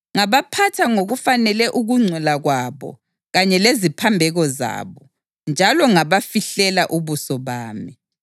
Ngabaphatha ngokufanele ukungcola kwabo kanye leziphambeko zabo, njalo ngabafihlela ubuso bami.